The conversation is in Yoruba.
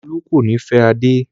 Olú kò ní fẹ́ Adé.